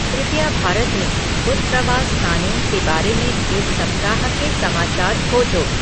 कृपया भारत में उत्प्रवास कानून के बारे में इस सप्ताह के समाचार खोजो